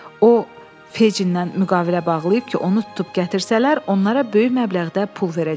O, Feycindən müqavilə bağlayıb ki, onu tutub gətirsələr, onlara böyük məbləğdə pul verəcək.